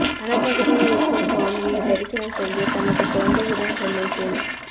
வனப்பகுதியில் இருக்கும் சுவாமியை தரிசனம் செய்ய தனது குழந்தையுடன் செல்லும் பெண்